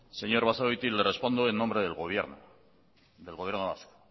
señor basagoiti le respondo en nombre del gobierno del gobierno vasco